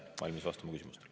Olen valmis vastama küsimustele.